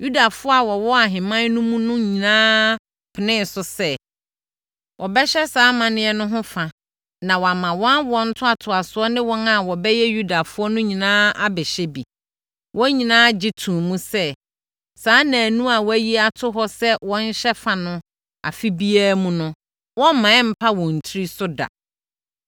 Yudafoɔ a wɔwɔ ahemman no mu no nyinaa penee so sɛ, wɔbɛhyɛ saa amanneɛ no ho fa, na wɔama wɔn awoɔ ntoatoasoɔ ne wɔn a wɔbɛyɛ Yudafoɔ no nyinaa abɛhyɛ bi. Wɔn nyinaa gye too mu sɛ, saa nnanu a wɔayi ato hɔ sɛ wɔnhyɛ fa no afe biara mu no, wɔremma ɛmmpa wɔn tiri so da.